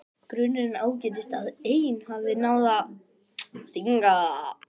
Grunurinn ágerist að ein hafi náð að stinga.